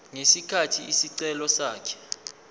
ngesikhathi isicelo sakhe